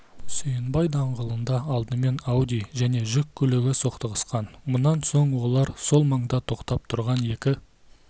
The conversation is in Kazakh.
сүйінбай даңғылында алдымен ауди және жүк көлігі соқтығысқан мұнан соң олар сол маңда тоқтап тұрған екі